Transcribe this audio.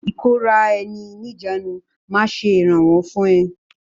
ìkóra ẹni níjàánu máa ṣe ìrànwọ́ fún ẹ.